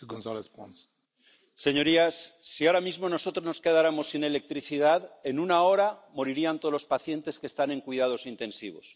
Señor presidente, señorías, si ahora mismo nosotros nos quedáramos sin electricidad, en una hora morirían todos los pacientes que están en cuidados intensivos